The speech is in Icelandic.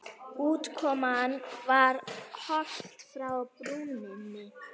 Útkoman var Horft frá brúnni.